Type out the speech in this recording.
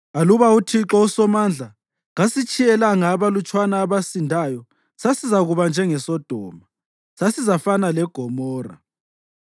Aluba uThixo uSomandla kasitshiyelanga abalutshwana abasindayo, sasizakuba njengeSodoma; sasizafana leGomora.